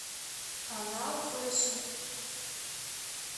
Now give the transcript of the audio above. канал фэшн